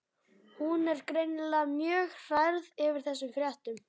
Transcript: Hún er greinilega mjög hrærð yfir þessum fréttum.